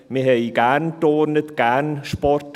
Wir turnten gerne und hatten gerne Sport.